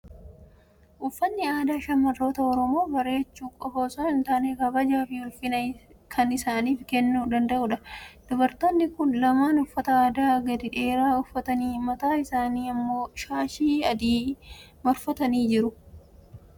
Uffatni aadaa shamarroota Oromoo bareechuu qofaa osoo hin taane, kabajaa fi ulfina kan isaaniif kennuu danda'udha. Dubartoonni kun lamaan uffata aadaa gadi dheeraa uffatanii mataa isaaniitti immoo shaashii adii maratanii jiru.